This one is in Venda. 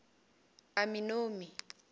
aminomi